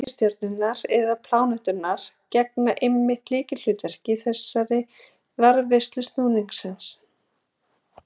Reikistjörnurnar eða pláneturnar gegna einmitt lykilhlutverki í þessari varðveislu snúningsins.